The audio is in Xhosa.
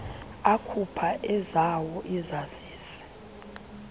akhupha ezawo izazisi